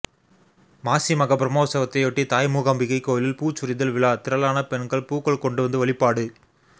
மாசிமக பிரமோற்சவத்தையொட்டி தாய் மூகாம்பிகை கோயிலில் பூச்சொரிதல் விழா திரளான பெண்கள் பூக்கள் கொண்டு வந்து வழிபாடு